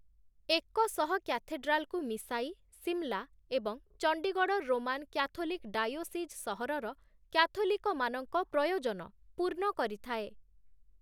ଏକଶହ କ୍ୟାଥେଡ୍ରାଲକୁ ମିଶାଇ, ସିମଲା ଏବଂ ଚଣ୍ଡୀଗଡ଼଼ ରୋମାନ କ୍ୟାଥୋଲିକ ଡାଇଓସିଜ୍ ସହରର କ୍ୟାଥୋଲିକମାନଙ୍କ ପ୍ରୟୋଜନ ପୂର୍ଣ୍ଣ କରିଥାଏ ।